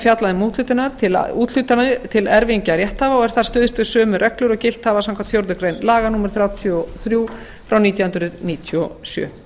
fjallað um úthlutun til erfingja rétthafa og er þar stuðst við sömu reglur og gilt hafa samkvæmt fjórðu grein laga númer þrjátíu og þrjú nítján hundruð níutíu og sjö